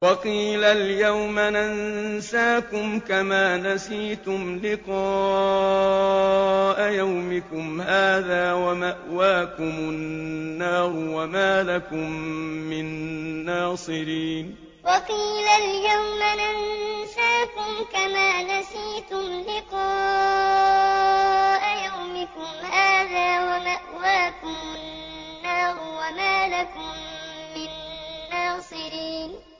وَقِيلَ الْيَوْمَ نَنسَاكُمْ كَمَا نَسِيتُمْ لِقَاءَ يَوْمِكُمْ هَٰذَا وَمَأْوَاكُمُ النَّارُ وَمَا لَكُم مِّن نَّاصِرِينَ وَقِيلَ الْيَوْمَ نَنسَاكُمْ كَمَا نَسِيتُمْ لِقَاءَ يَوْمِكُمْ هَٰذَا وَمَأْوَاكُمُ النَّارُ وَمَا لَكُم مِّن نَّاصِرِينَ